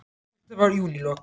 Þetta var í júnílok.